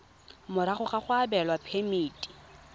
morago ga go abelwa phemiti